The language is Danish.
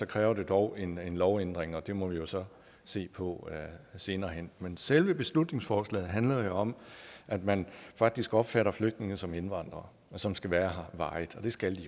kræver det dog en lovændring og det må vi jo så se på senere hen men selve beslutningsforslaget handler om at man faktisk opfatter flygtninge som indvandrere som skal være her varigt det skal